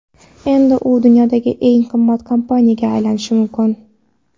Endi u dunyodagi eng qimmat kompaniyaga aylanishi mumkin.